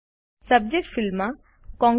subject ફિલ્ડમાં congrats